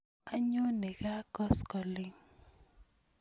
Anyone kaa koskoling'